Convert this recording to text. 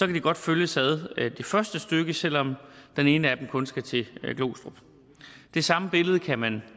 de godt følges ad det første stykke selv om den ene af dem kun skal til glostrup det samme billede kan man